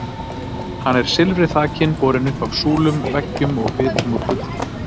Hann er silfri þakinn, borinn upp af súlum, veggjum og bitum úr gulli.